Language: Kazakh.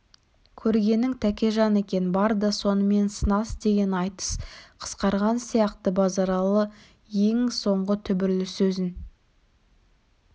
көргенің тәкежан екен бар да сонымен сынас деген айтыс қысқарған сияқты базаралы ең соңғы түбірлі сөзін